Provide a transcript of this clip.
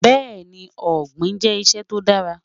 Bẹ́ẹni, Ogbin jẹ́ iṣẹ́ tó dàrà.